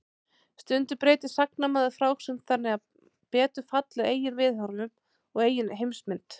Stundum breytir sagnamaður frásögn þannig að betur falli að eigin viðhorfum og eigin heimsmynd.